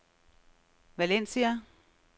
Valencia